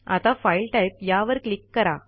आता file type या वर क्लिक करा